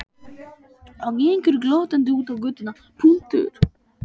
Og gengur glottandi út á götuna.